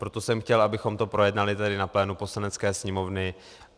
Proto jsem chtěl, abychom to projednali tady na plénu Poslanecké sněmovny.